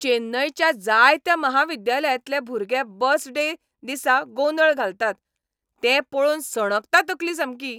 चेन्नयच्या जायत्या म्हाविद्यालयांतले भुरगे बस डे दिसा गोंदळ घालतात तें पळोवन सणकता तकली सामकी.